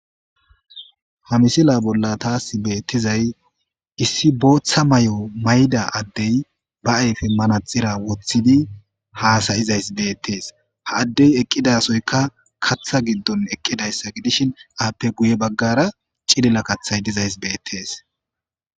ha misila bolla taas beettizay issi booththa may7o mayda addey ba ayfe mana xira woththidi haasayizays beettees ha addey eqqidasoyka katha giddon eqqidayssa gidishin aappe guye baggara cilila kathay dizays beettees